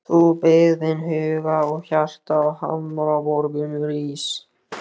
Þú byggðin huga og hjarta á hamraborgum rís.